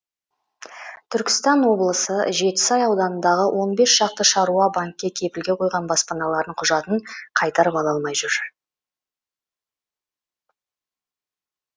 түркістан облысы жетісай ауданындағы он бес шақты шаруа банкке кепілге қойған баспаналарының құжатын қайтарып ала алмай жүр